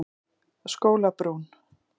Skólabrún